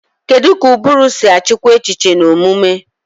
Kedu ka ụbụrụ si achịkwa echiche na omume?